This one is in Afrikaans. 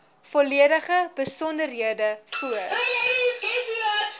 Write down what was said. volledige besonderhede voor